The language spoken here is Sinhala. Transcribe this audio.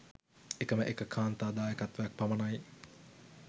එකම එක කාන්තා දායකත්වයක් පමණයි